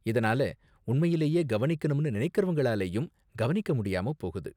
இதனால உண்மையிலேயே கவனிக்கணும்னு நினைக்கறவங்களாலயும் கவனிக்க முடியாம போகுது.